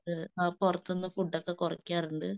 അവൻ പുറത്ത്നിന്ന് ഫുഡ് ഒക്കെ കുറക്കാറുണ്ട്